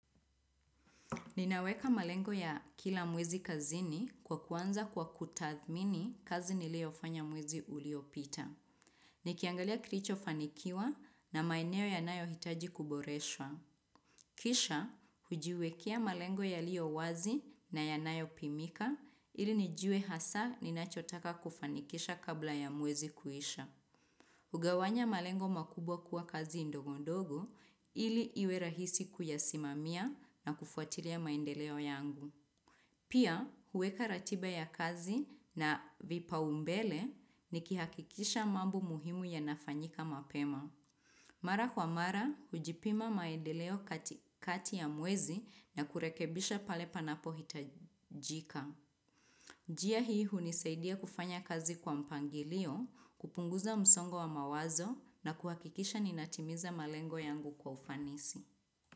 Ninaweka malengo ya kila mwezi kazini kwa kuanza kwa kutathmini kazi niliyofanya mwezi uliopita. Nikiangalia kilicho fanikiwa na maeneo yanayohitaji kuboreswa. Kisha, hujiwekea malengo yaliyowazi na yanayopimika ili nijue hasa ninachotaka kufanikisha kabla ya mwezi kuisha. Hugawanya malengo makubwa kuwa kazi ndogondogo ili iwerahisi kuyasimamia na kufuatilia maendeleo yangu. Pia huweka ratiba ya kazi na vipaumbele nikihakikisha mambo muhimu yanafanyika mapema. Mara kwa mara, hujipima maedeleo katikati ya mwezi na kurekebisha pale panapohitajika. Njia hii hunisaidia kufanya kazi kwa mpangilio, kupunguza msongo wa mawazo na kuhakikisha ninatimiza malengo yangu kwa ufanisi.